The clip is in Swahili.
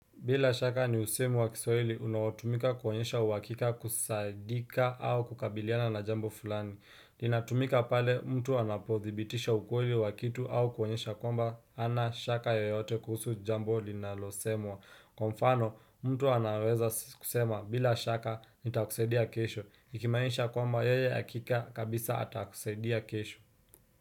Bila shaka, ni usemi wa kiswahili, unaotumika kuonyesha uhakika, kusaidika au kukabiliana na jambo fulani. Linatumika pale mtu anapothibitisha ukweli wa kitu au kuonyesha kwamba hana shaka yoyote kuhusu jambo linalosemwa. Kwa mfano, mtu anaweza kusema, "bila shaka, nitakusaidia kesho." Ikimaanisha kwamba yeye hakika kabisa atakusaidia kesho.